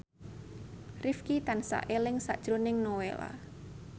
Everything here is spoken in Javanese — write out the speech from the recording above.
Rifqi tansah eling sakjroning Nowela